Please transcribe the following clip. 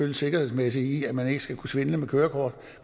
det sikkerhedsmæssige i at man ikke skal kunne svindle med kørekortet